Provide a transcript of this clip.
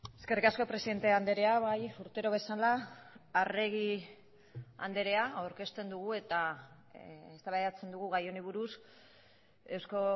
eskerrik asko presidente andrea bai urtero bezala arregi andrea aurkezten dugu eta eztabaidatzen dugu gai honi buruz eusko